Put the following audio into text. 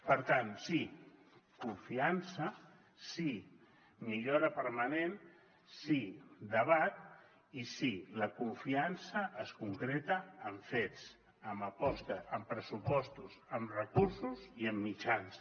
per tant sí confiança sí millora permanent sí debat i sí la confiança es concreta amb fets amb aposta amb pressupostos amb recursos i amb mitjans